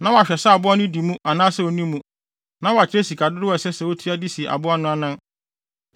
na wahwɛ sɛ aboa no di mu anaa sɛ onni mu, na wakyerɛ sika dodow a ɛsɛ sɛ otua de si aboa no anan.